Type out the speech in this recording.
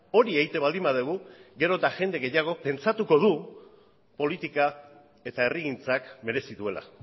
hori egiten baldin badugu gero eta jende gehiagok pentsatuko du politika eta herrigintzak merezi duela